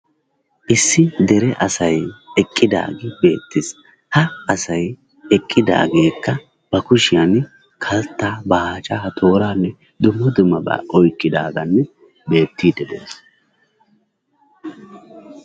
Issi dere asay eqqidaagee beettees. Ha asay eqqidaageekka ba kushiyaan kaltta, baacca, tooranne dumma dummaba oyqqidaagee beettide de'ees.